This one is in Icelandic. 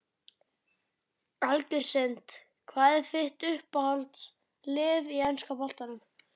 Algjör synd Hvað er þitt uppáhaldslið í enska boltanum?